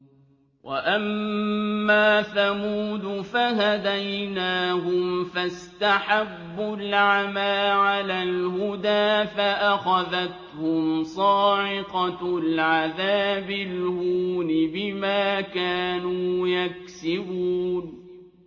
وَأَمَّا ثَمُودُ فَهَدَيْنَاهُمْ فَاسْتَحَبُّوا الْعَمَىٰ عَلَى الْهُدَىٰ فَأَخَذَتْهُمْ صَاعِقَةُ الْعَذَابِ الْهُونِ بِمَا كَانُوا يَكْسِبُونَ